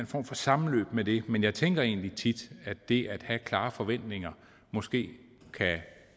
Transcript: for sammenløb med det men jeg tænker egentlig tit at det at have klare forventninger måske kan